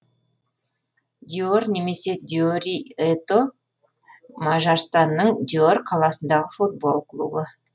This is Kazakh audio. дьор немесе дьори это мажарстанның дьор қаласындағы футбол клубы